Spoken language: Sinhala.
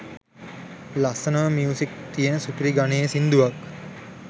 ලස්සනම මියුසික් තියන සුපිරි ගණයේ සින්දුවක්